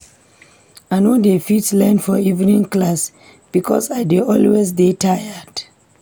I no dey fit learn for evening class because I dey always dey tired.